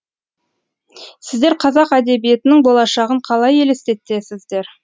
сіздер қазақ әдебиетінің болашағын қалай елестетесіздер